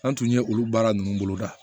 An tun ye olu baara ninnu boloda